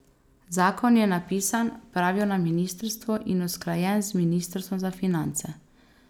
Zakon je napisan, pravijo na ministrstvu in usklajen z ministrstvom za finance.